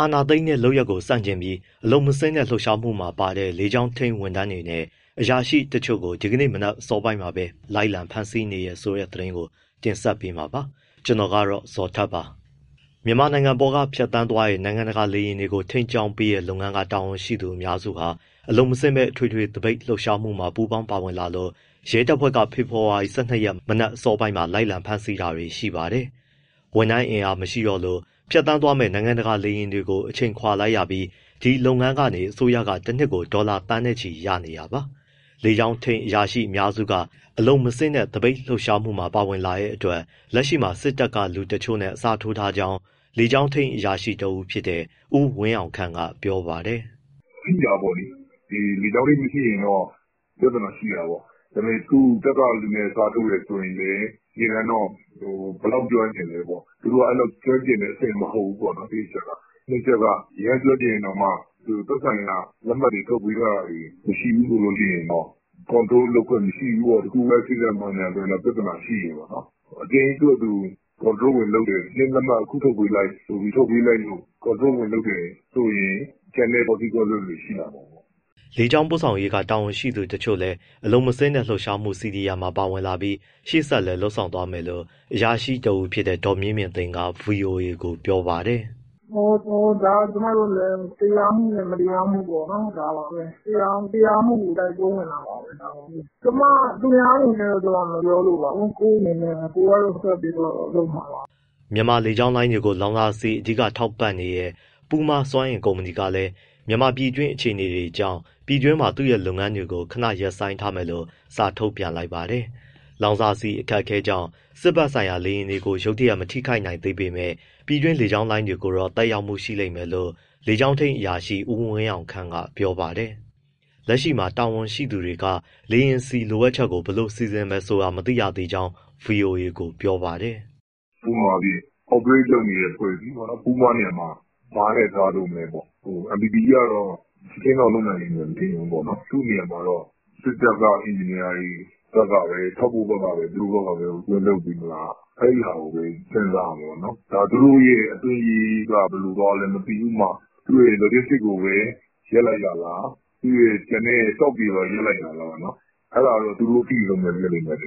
အာဏာသိမ်းတဲ့လုပ်ရပ်ကို ဆန့်ကျင်ပြီး အလုပ်မဆင်းတဲ့ လှုပ်ရှားမှုမှာပါတဲ့ လေကြောင်းထိန်း ဝန်ထမ်းတွေနဲ့ အရာရှိတချို့ကို ဒီကနေ့ မနက်အစောပိုင်းမှာပဲ လိုက်လံဖမ်းဆီးနေပါတယ်။ အပြည့်အစုံကိုတော့ ကိုဇော်ထက်က တင်ပြပေးထားပါတယ်။ မြန်မာနိုင်ငံပေါ်က ဖြတ်သန်းသွားတဲ့ နိုင်ငံတကာလေယာဉ်တွေကို ထိန်းကြောင်းပေးတဲ့လုပ်ငန်းက တာဝန်ရှိအများစုဟာ အလုပ်မဆင်းဘဲ အထွေထွေသပိတ် လှုပ်ရှားမှုမှာ ပူးပေါင်း ပါဝင်လာလို့ ရဲတပ်ဖွဲ့က ဖေဖော်ဝါရီ ၁၂ ရက် မနက်အစောပိုင်းမှာ လိုက်လံဖမ်းဆီးတာတွေ ရှိပါတယ်။ ဝန်ထမ်းအင်အား မရှိတော့လို့ ဖြတ်သွားမယ့် နိုင်ငံတကာ လေယာဉ်တွေကို အချိန်ခွာလိုက်ရပြီး ဒီလုပ်ငန်းကနေ အစိုးရက တနှစ်ကို ဒေါ်လာသန်းချီရနေတာပါ။ လေကြောင်းထိန်းအရာရှိအများစုက အလုပ်မဆင်းတဲ့ သပိတ်လှုပ်ရှားမှုမှာ ပါဝင်လာတဲ့အတွက် လက်ရှိမှာ စစ်တပ်ကလူတချို့နဲ့ အစားထိုးထားကြောင်း လေကြောင်းထိန်း အရာရှိတဦးဖြစ်တဲ့ ဦးဝင်းအောင်ခန့်က ပြောပါတယ်။ “ ထိတာပေါ့လေ လေကြောင်းထိန်းမရှိရင်တော့ ပြဿနာရှိတာပေါ့၊ အခုတပ်ကသူနဲ့ အစားထိုးတယ်ဆိုရင်လည်း တကယ်တမ်း ဘယ်လောက်ကျွမ်းကျင်လဲပေါ့။ သူတို့က အဲလောက် ကျွမ်းကျင်တဲ့အဆင့် မဟုတ်ဘူးပေါ့နော် တစ်အချက်က၊ နှစ်အချက်က အရမ်းကျွမ်းကျင်ရင်တောင်မှ သက်ဆိုင်ရာ လက်မှတ်တွေ ထုတ်ပေးထားတာတွေ မရှိဘူးဆိုရင်တော့ Control လုပ်ခွင့်မရှိဘူးပေါ့၊ တခုခု Accident ဘာညာဆိုရင်တော့ ပြဿနာရှိတယ်ပေါ့။ အတင်းသူဖာသူ Control ဝင်လုပ်တယ် ချက်ချင်း လက်မှတ် အခုထုတ်ပေးလိုက် ဆိုပြီး Control ဝင်လုပ်မယ်ဆိုရင် ကျန်တဲ့ Consequences တွေ ဖြစ်လာနိုင်တယ်။” လေကြောင်းပို့ဆောင်ရေးက တာဝန်ရှိသူတွေလည်း အလုပ်မဆင်းတဲ့ လှုပ်ရှားမှု CDM မှာပါဝင်လာပြီး ရှေ့ဆက်လည်း လုပ်ဆောင်သွားမယ်လို့ အရာရှိတဦးဖြစ်တဲ့ ဒေါ်မြင့်မြင့်သိန်းက ဗွီအိုအေကို ပြောပါတယ်။ “ ဒါကကျမတို့လည်း တရားမှုနဲ့ မတရားမှု ပေါ့နော် ဒါပါပဲ၊ မတရားမှုကို တိုက်ပွဲဝင်တာပါပဲ၊ ကျမက သူများတွေအနေနဲ့တော့ မပြောလိုပါဘူး ကိုယ့်အနေနဲ့ကတော့ ကိုယ်ကတော့ ဆက်ပြီးလုပ်မှပါပဲ။” မြန်မာ လေကြောင်းလိုင်းတွေကို လောင်စာဆီအဓိက ထောက်ပံ့နေတဲ့ Puma စွမ်းအင်ကုမ္ပဏီဟာလည်း မြန်မာပြည်တွင်း အခြေအနေတွေကြောင့် ပြည်တွင်းမှာ သူ့ရဲ့ လုပ်ငန်းတွေကို ခဏရပ်ဆိုင်းထားမယ်လို့ စာထုတ်ပြန်လိုက်ပါတယ်။ လောင်စာဆီအခက်အခဲကြောင့် စစ်ဘက်ဆိုင်ရာ လေယာဉ်တွေကို ရုတ်တရက် မထိခိုက်နိုင်သေးပေမဲ့ ပြည်တွင်း လေကြောင်းလိုင်းတွေကိုတော့ သက်ရောက်မှု ရှိလိမ့်မယ်လို့ လေကြောင်းထိန်းအရာရှိ ဦးဝင်းအောင်ခန့်ကပြောပါတယ်။ လက်တလောမှာ တာဝန်ရှိသူတွေက လေယာဉ်ဆီ လိုအပ်ချက်ကို ဘယ်လိုစီစဉ်မယ်ဆိုတာ မသိရသေးကြောင်း ဗွီအိုအေကို ပြောပါတယ်။ “ ဥပမာအားဖြင့် Operate လုပ်နေတဲ့ အဖွဲ့အစည်းပေါ့နော်၊ Puma နေရာမှာ ဘာနဲ့အစားထိုးမလဲပေါ့။ MPE ကတော့ ချက်ချင်းတော့ လုပ်နိုင်လိမ့်မယ်လို့ မထင်ဘူးပေါ့နော်၊ သူ့နေရာမှာတော့ စစ်တပ်ဘက်က အင်ဂျင်နီယာတွေ ဘက်ကပဲ၊ ထောက်ပို့ဘက်ကပဲ ဝင်လုပ်ပေးမလား၊ အဲဒီဟာကိုပဲ စဉ်းစားရမယ်ပေါ့နော်။ ဒါ သူတို့ (Puna Energy) ဘက်က ဘယ်လိုသွားလဲ မသိဘူး ဥပမာ သူ့ရဲ့ Logistics ကိုပဲ ရပ်လိုက်တာလား၊ ကျန်တဲ့သူ့ရဲ့ Stock တွေပါ ရပ်လိုက်တာလား။ အဲဒါကတော့ သူတို့ အသိဆုံးပဲ ဖြစ်လိမ့်မယ်။”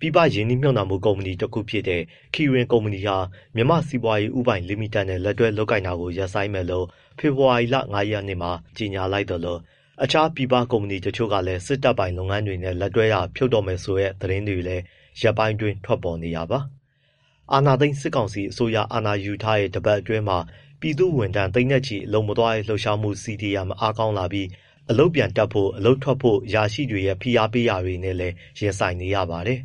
ပြည်ပရင်းနှီးမြှုပ်နှံမှု ကုမ္ပဏီတခုဖြစ်တဲ့ Kirin ကုမ္ပဏီဟာ မြန်မာ့စီးပွားရေး ဦးပိုင်လိမိတက်နဲ့ လက်တွဲလုပ်ကိုင်တာကို ရပ်ဆိုင်းမယ်လို့ ဖေဖော်ဝါရီ ၅ ရက်မှာ ကြေညာလိုက်သလို တခြားပြည်ပ ကုမ္ပဏီတချို့လည်း စစ်တပ်ပိုင် လုပ်ငန်းတွေနဲ့ လက်တွဲတာ ဖြုတ်တော့မယ်ဆိုတဲ့ သတင်းတွေလည်း ဒီရက်ပိုင်း ထွက်ပေါ်နေတာပါ။ အာဏာသိမ်း စစ်ကောင်စီအစိုးရ အာဏာယူထားတဲ့ တပတ်အတွင်းမှာ ပြည်သူ့ဝန်ထမ်း သိန်းနဲ့ချီပြီး အလုပ်မသွားတဲ့ လှုပ်ရှားမှု (CDM) အားကောင်းလာပြီး အလုပ်ပြန်တက်ဖို့၊ အလုပ်ထွက်ဖို့ အရာရှိတွေရဲ့ ဖိအားပေးတာတွေနဲ့လည်း ရင်ဆိုင်နေရပါတယ်